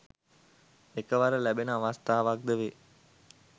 එකවර ලැබෙන අවස්ථාවක්ද වේ